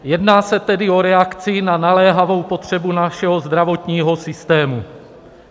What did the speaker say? Jedná se tedy o reakci na naléhavou potřebu našeho zdravotního systému.